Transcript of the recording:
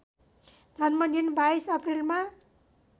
जन्मदिन २२ अप्रिलमा